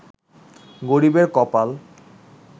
গরিবের কপাল